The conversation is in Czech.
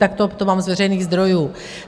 Takto to mám z veřejných zdrojů.